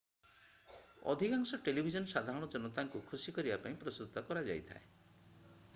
ଅଧିକାଂଶ ଟେଲିଭିଜନ ସାଧାରଣ ଜନତାଙ୍କୁ ଖୁସି କରିବା ପାଇଁ ପ୍ରସ୍ତୁତ କରାଯାଇଥାଏ